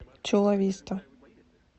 чула виста